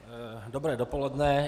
Dobré dopoledne.